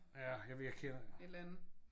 Ja jeg ved jeg kender